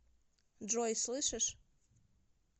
джой слышишь